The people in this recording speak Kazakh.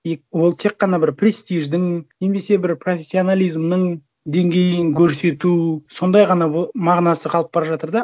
и ол тек қана бір престиждің немесе бір профессионализмнің деңгейін көрсету сондай ғана мағынасы қалып бара жатыр да